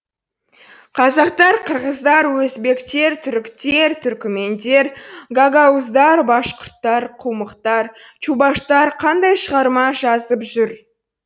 қазақтар қырғыздар өзбектер түріктер түркімендер гагауздар башқұрттар құмықтар чубаштар қандай шығарма жазып жүр